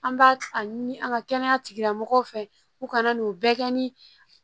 An b'a a ɲini an ka kɛnɛya tigilamɔgɔw fɛ u kana n'o bɛɛ kɛ ni